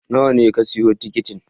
Nawa ne ka siya tikitin?